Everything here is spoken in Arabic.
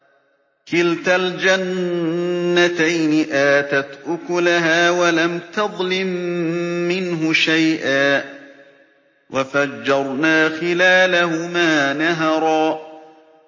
كِلْتَا الْجَنَّتَيْنِ آتَتْ أُكُلَهَا وَلَمْ تَظْلِم مِّنْهُ شَيْئًا ۚ وَفَجَّرْنَا خِلَالَهُمَا نَهَرًا